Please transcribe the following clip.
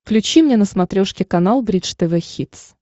включи мне на смотрешке канал бридж тв хитс